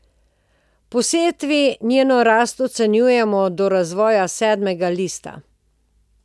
Po setvi njeno rast ocenjujemo do razvoja sedmega lista.